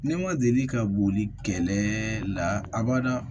Ne ma deli ka boli kɛlɛ la a bada